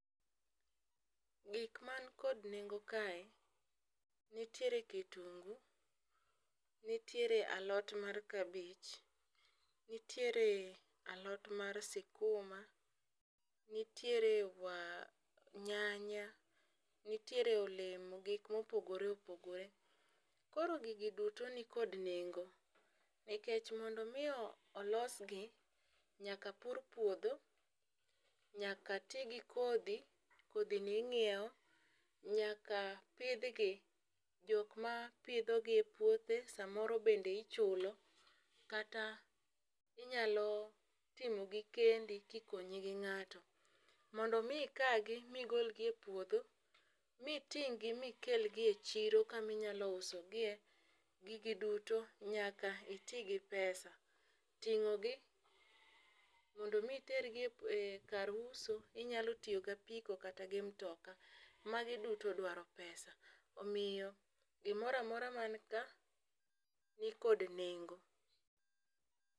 Gik man kod nengo kae nitiere kitungu ,nitiere alot mar kabich, nitiere alot mar sikuma , nitiere wa nyanya , nitiere olemo gik mopogore opogore . Koro gigi duto nikod nengo nikech mondo mi olosgi, nyaka pur puodho, nyaka tii gi kodhi kodhi ni inyiewo ,nyaka pidhgi jok ma pidho gi e puothe samoro bende ichulo kata inyalo timo gi kendi kikonyi gi ng'ato. Mondo mi ikagi migol gi e puodho miting' gi mikel gi e chiro kaminyalo uso gie gigi duto nyaka iti gi pesa . Ting'o gi mondo mi iter gi kar uso inyalo tiyo gi apiko kata gi mtoka magi duto dwaro pesa omiyo gimoramora man ka nikod nengo.